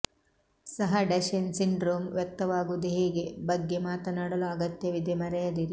ಸಹ ಡಶೆನ್ ಸಿಂಡ್ರೋಮ್ ವ್ಯಕ್ತವಾಗುವುದು ಹೇಗೆ ಬಗ್ಗೆ ಮಾತನಾಡಲು ಅಗತ್ಯವಿದೆ ಮರೆಯದಿರಿ